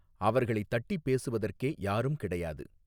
அவர்களைத் தட்டிப் பேசுவதற்கே யாரும் கிடையாது.